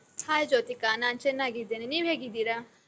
Hai Jyothika, ನಾನ್ ಚನ್ನಾಗಿದ್ದೇನೆ, ನೀವ್ ಹೇಗಿದ್ದೀರಾ?